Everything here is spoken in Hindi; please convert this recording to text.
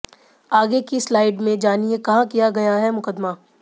आगे की स्लाइड में जानिए कहां किया गया है मुकदमा